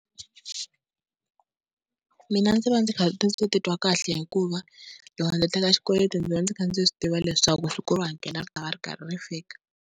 Mina ndzi va ndzi kha ndzi titwa kahle hikuva loko ndzi teka xikweleti ndzi va ndzi kha ndzi swi tiva leswaku siku ro hakela ri ta va ri karhi ri fika.